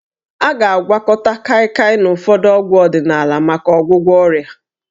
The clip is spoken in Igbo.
A ga-agwakọta Kaịkaị na ụfọdụ ọgwụ ọdịnaala maka ọgwụgwọ ọrịa